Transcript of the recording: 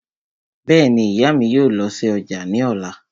Bẹ́ẹ̀ni, ìyá mi yóò lọ sí ọjà ní ọ̀la